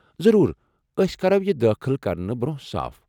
ضروٗر، اسۍ كرو یہِ دٲخل كرنہٕ برونٛہہ صاف ۔